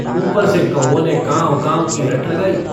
ऊपर से कौओं ने कांव-काँव की रट लगायी।